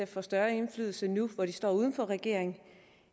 får større indflydelse nu hvor de står uden for regeringen